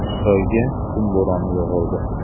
Xitoyga qum bo‘roni yog‘ildi.